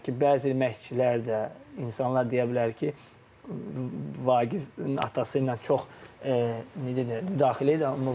Yenə deyirəm ki, bəzi məşqçilər də, insanlar deyə bilər ki, Vaqifin atası ilə çox necə deyim, müdaxilə idi.